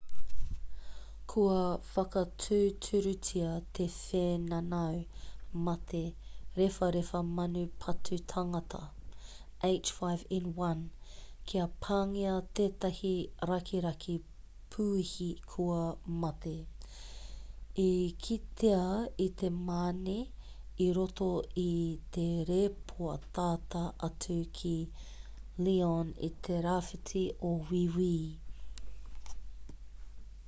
kua whakatūturutia te whēnanau mate rewharewha manu patu tangata h5n1 kia pāngia tētahi rakiraki puihi kua mate i kitea i te mane i roto i te rēpō tata atu ki lyon i te rāwhiti o wīwi